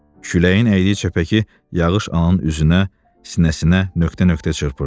Küləyin əydiyi çəpəki yağış ananın üzünə, sinəsinə nöqtə-nöqtə çırpırdı.